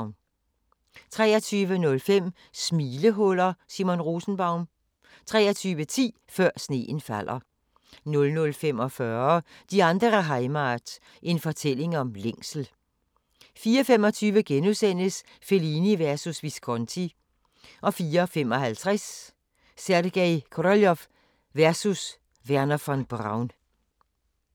23:05: Smilehuller – Simon Rosenbaum 23:10: Før sneen falder 00:45: Die andere Heimat – en fortælling om længsel 04:25: Fellini versus Visconti * 04:55: Sergej Koroljov versus Wernher von Braun